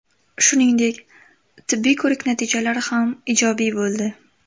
Shuningdek, tibbiy ko‘rik natijalari ham ijobiy bo‘ldi.